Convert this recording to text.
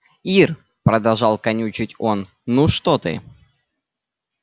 ир продолжал канючить он ну что ты